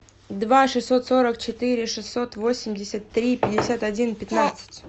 два шестьсот сорок четыре шестьсот восемьдесят три пятьдесят один пятнадцать